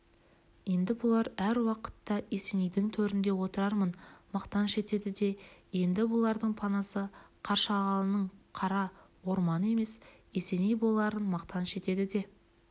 енді бұлар әр уақытта есенейдің төрінде отырарын мақтаныш етеді де енді бұлардың панасы қаршығалының қара орманы емес есеней боларын мақтаныш етеді де